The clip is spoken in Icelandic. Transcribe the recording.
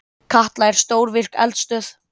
Katla er stórvirk eldstöð.